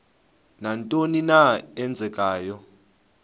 nantoni na eenzekayo